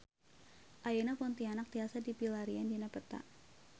Ayeuna Pontianak tiasa dipilarian dina peta